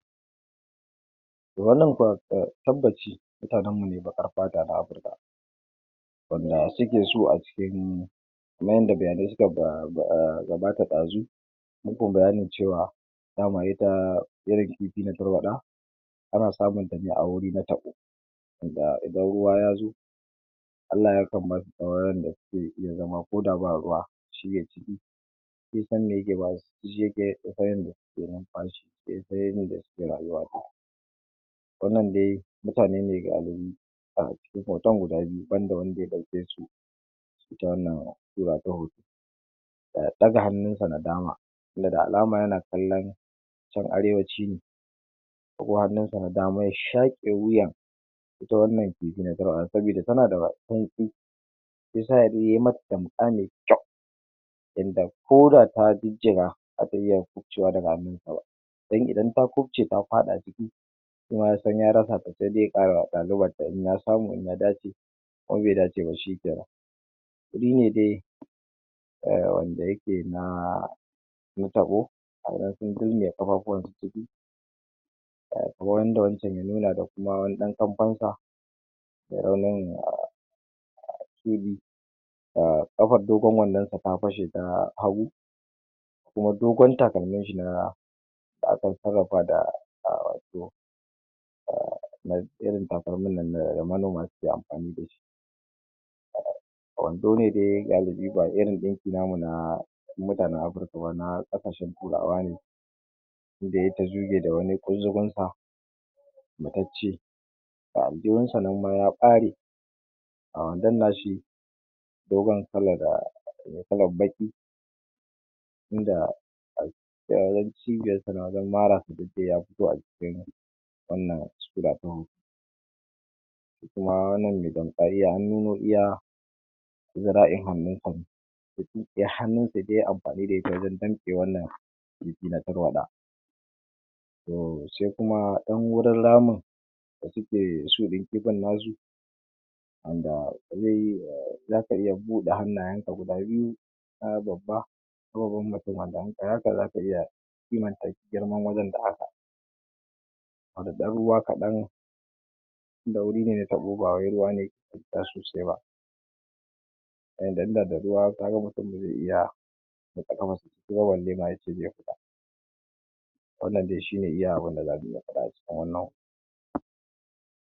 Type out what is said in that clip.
Toh wannan tabbaci mutanen mu ne bakar fata a Africa wanda suke so a cikin wanda bayanai suka gabata dazu mu kai bayani cewa dama ita irin kifi na tarwada ana samun tane a wuri na tabo, wanda idan ruwa yazo Allah Ya kan basu tsawon ran da suke iya zama ko da ba ruwa, sun san yadda suke iya zama numfashi, Sun san yadda suke rayuwa, wannan dai mutane ne gasu nan a cikin hoton guda biyu, wanda wanda ya dauke su,, ita wannan sura ta hoto ya daga hannun sa na dama, wanda da alama yana kallon can arewaci ko hannun sa na dama ya shake wuyan ita wannan kifi na tarwada sabida tana da baki shi yasa yai mata tamka mai kyau sabida ko da ta jijjiga ba zata iya kufcewa daga hannun sa ba, dan idan ta kufce, ta fada ciki shima yasan ya rasa ta sai dai ya kara lalubo wata, in ya samu in ya dace, in kuma bai dace ba shikenan, wuri ne dai wanda yake na tabo, kamar yadda wancan ya nuna da kuma kamfan sa kafar dogon wandon sa ta fashe ta hagu, kuma dogon takalmin shi da aka sarrafa da, irin takalimin nan da manoma suke amfani dashi, wando ne dai galibi ba irin dinki na namu na mutanen Africa ba, na kasashen turawa ne, inda yayi tazuge da wani kunzugun sa matacce, ga aljihun sa nan ma ya bare, ga wandon nashi dogon kalar me kalar baki, inda yake cibiyar sa wajen mara dik dai ya fito a jikin wannan sura ta hoto, kuma wannan me... an nuno iya zira'in hannun sa, hannun sa da yayi amfani da ita wajen danne wannan kifi na tarwada, to sai kuma dan wurin ramin da suke so in kifin nasu wanda zaka iya bude hannayen ka guda biyu babba wanda in kayi haka zaka iya kimanta girman wajen da haka, dan ruwa kadan inda wuri ne na tabo ba wai ruwan ne sosai ba, yanda in da da ruwa kaga mutum ba zai iya saka kafar sa ciki ba balle ma yace zai iya, wannann dai shine iya abinda zaka iya fada a jikin wannan hoto.